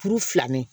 Kuru fila me